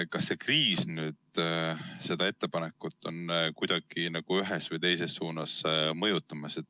Kas see kriis nüüd ka seda ettepanekut kuidagi ühes või teises suunas mõjutab?